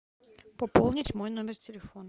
пополнить мой номер телефона